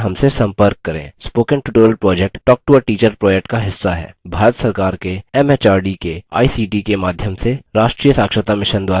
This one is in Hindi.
spoken tutorial project talktoateacher project का हिस्सा है भारत सरकार के एमएचआरडी के आईसीटी के माध्यम से राष्ट्रीय साक्षरता mission द्वारा समर्थित है